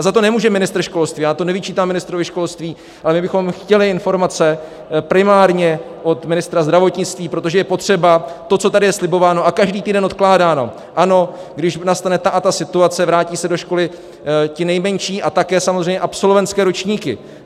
A za to nemůže ministr školství, já to nevyčítám ministrovi školství, ale my bychom chtěli informace primárně od ministra zdravotnictví, protože je potřeba to, co tady je slibováno a každý týden odkládáno, ano, když nastane ta a ta situace, vrátí se do školy ti nejmenší a také samozřejmě absolventské ročníky.